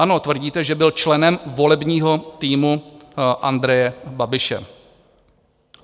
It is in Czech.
Ano, tvrdíte, že byl členem volebního týmu Andreje Babiše.